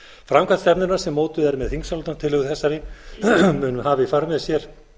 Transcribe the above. framkvæmd stefnunnar sem mótuð er með þingsályktunartillögu þessari mun hafa í för með sér